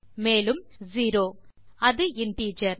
மேலும் செரோ அது இன்டிஜர்